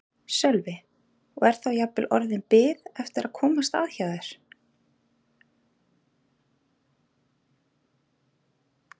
Sölvi: Og er þá jafnvel orðin bið eftir að komast að hjá þér?